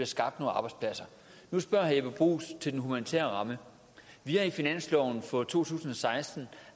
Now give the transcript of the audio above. skabt nogle arbejdspladser nu spørger herre jeppe bruus til den humanitære ramme vi har i finansloven for to tusind og seksten